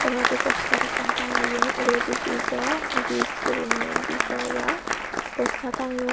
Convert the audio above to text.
er poredi postar ekkan tangeyun uguredi Grizz o Grizz guriney Grizz o yea poster tangeyun.